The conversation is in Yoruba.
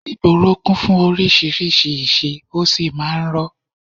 Ìgboro kún fún oríṣiríṣi ìṣe, ó sì máa ń rọ́